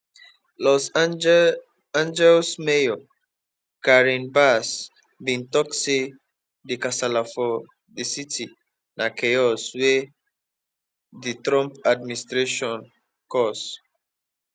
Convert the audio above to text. los angeles mayor karen bass bin tok say di kasala for di city na chaos wey di trump administration cause